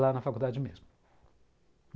lá na faculdade mesmo.